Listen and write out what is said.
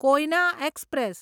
Koyna express